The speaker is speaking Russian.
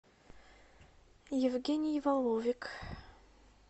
евгений воловик